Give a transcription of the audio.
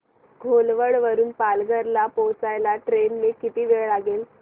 घोलवड वरून पालघर ला पोहचायला ट्रेन ने किती वेळ लागेल